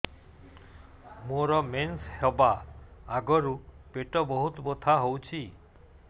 ମୋର ମେନ୍ସେସ ହବା ଆଗରୁ ପେଟ ବହୁତ ବଥା ହଉଚି